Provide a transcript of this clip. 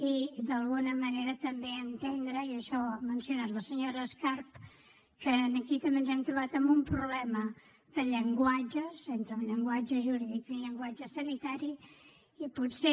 i d’alguna manera també entendre i això ho ha mencionat la senyora escarp que aquí també ens hem trobat amb un problema de llenguatges entre un llenguatge jurídic i un llenguatge sanitari i potser